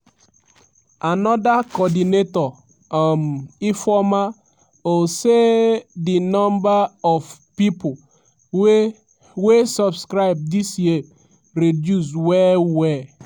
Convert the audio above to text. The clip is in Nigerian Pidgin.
anoda coordinator um ifeoma ossai di number of pipo wey wey subscribe dis year reduce well-well.